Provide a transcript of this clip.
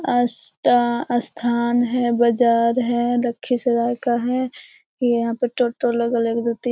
आस्था स्थान है बजार है लखीसराय का है। यहाँ पर टोटो लगल है एक दो तीन --